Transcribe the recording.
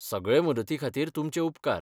सगळे मदती खातीर तुमचे उपकार.